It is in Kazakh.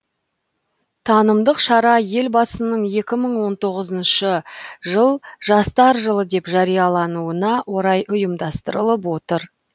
танымдық шара елбасының екі мың он тоғызыншы жыл жастар жылы деп жариялануына орай ұйымдастырылып отыр